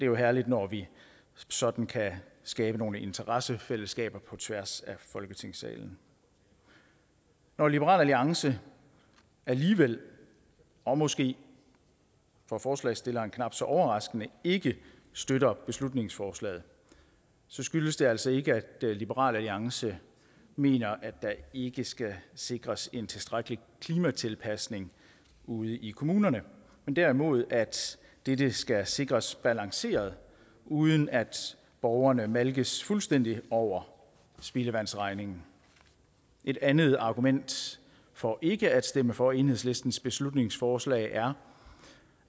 jo herligt når vi sådan kan skabe nogle interessefællesskaber på tværs af folketingssalen når liberal alliance alligevel og måske for forslagsstilleren knap så overraskende ikke støtter beslutningsforslaget skyldes det altså ikke at liberal alliance mener at der ikke skal sikres en tilstrækkelig klimatilpasning ude i kommunerne men derimod at dette skal sikres balanceret uden at borgerne malkes fuldstændig over spildevandsregningen et andet argument for ikke at stemme for enhedslistens beslutningsforslag er